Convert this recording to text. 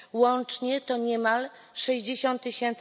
Łącznie to niemal 60 tys.